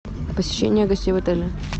посещение гостей в отеле